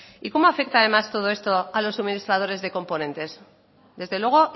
y cómo afecta además todo esto a los suministradores de componentes desde luego